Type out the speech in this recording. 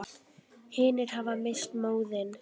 Hinir hafa misst móðinn.